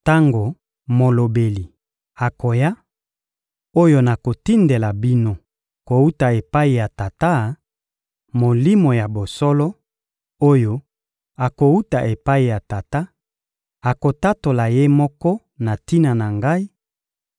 Tango Molobeli akoya, oyo nakotindela bino kowuta epai ya Tata —Molimo ya bosolo, oyo akowuta epai ya Tata— akotatola Ye moko na tina na Ngai;